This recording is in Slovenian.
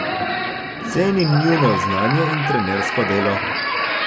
Cenim njuno znanje in trenersko delo.